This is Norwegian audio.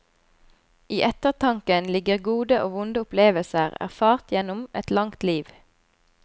I ettertanken ligger gode og vonde opplevelser erfart gjennom et langt liv.